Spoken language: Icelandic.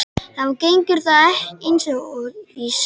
Þá gengur það eins og í sögu.